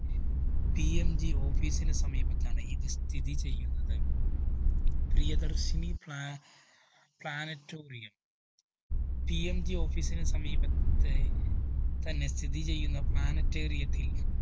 PMGoffice ന് സമീപത്താണ് ഇത് സ്ഥിതിചെയ്യുന്നത്. പ്രിയദര്‍ശിനി പ്ലാ Planetarium PMGOffice ന് സമീപത്തെ തന്നെ സ്ഥിതിചെയ്യുന്ന Planetarium യത്തില്‍